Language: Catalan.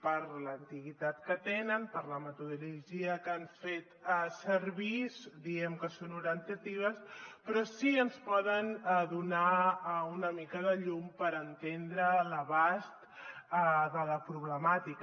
per l’antiguitat que tenen per la metodologia que han fet servir diem que són orientatives però sí que ens poden donar una mica de llum per entendre l’abast de la problemàtica